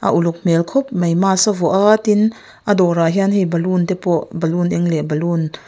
a uluk hmel khawp mai mask a vuah a tin a dawr ah hian hei ballon te pawh ballon eng leh ballon --